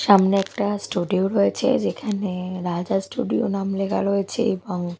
সামনে একটা স্টুডিও রয়েছে যেখানে রাজা স্টুডিও নাম লেখা রয়েছে এবং--